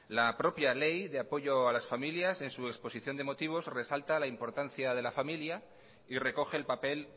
la propia ley de apoyo a las familias en su exposición de motivos resalta la importancia de la familia y recoge el papel